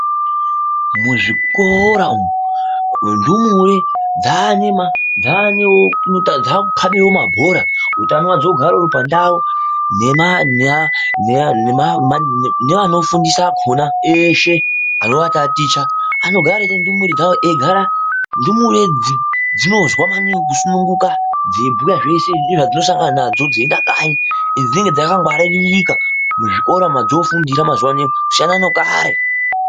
Muzvikora umu ndumure dzakukabewo mabhora utano ugare uri pandau nevanofundisa akona eshe anovataticha anogara eiti ndumure dzinogara dzeisununguka dzeibhuya zveshe ndedzedzinosangana nazvo dzeienda kanyi ende dzinenge dzakangwaririka muzvikora modzofunda mazuva ano kusiyana nekare.